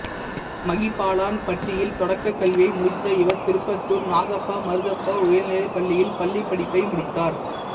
மகிபாலன்பட்டியில் தொடக்கக் கல்வியை முடித்த இவர் திருப்பத்தூர் நாகப்பா மருதப்பா உயர்நிலைப் பள்ளியில் பள்ளிப்படிப்பை முடித்தார்